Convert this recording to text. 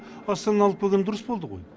астананы алып келгені дұрыс болды ғой